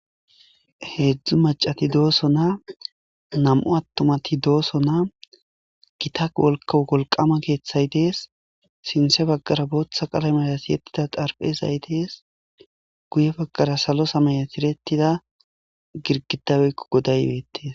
Heezzu macati dooso. Nam'u attumati dooso .Gita woyikko wolqama keeththay dees .sinthe baggara booththa qalameya tiyettida xarphezay dees. Guye baggara salo samaya tiyetida girgiday woykko goday beetes.